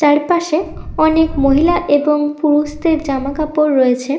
চারপাশে অনেক মহিলা এবং পুরুষদের জামা কাপড় রয়েছে--